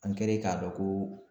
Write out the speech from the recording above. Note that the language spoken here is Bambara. An kɛlen k'a dɔn ko